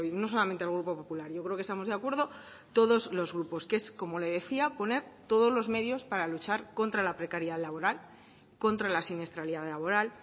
no solamente el grupo popular yo creo que estamos de acuerdo todos los grupos que es como le decía poner todos los medios para luchar contra la precariedad laboral contra la siniestralidad laboral